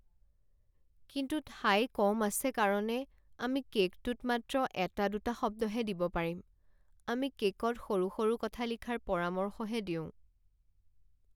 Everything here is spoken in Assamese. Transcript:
কিন্তু ঠাই কম আছে কাৰণে আমি কে'কটোত মাত্ৰ এটা দুটা শব্দহে দিব পাৰিম। আমি কে'কত সৰু সৰু কথা লিখাৰ পৰামৰ্শহে দিওঁ।